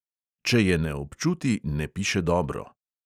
Če je ne občuti, ne piše dobro.